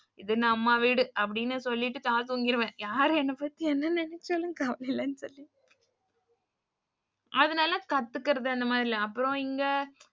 இது அம்மா வீடுஅப்படினு சொல்லிட்டு நா தூங்கிருவேன். யாரு என்ன பத்தி என்ன நினச்சாலும் கவலையில்லைன்னு அதனால கத்துக்குறது அந்த மாரி இல்ல அப்புறம் இங்க,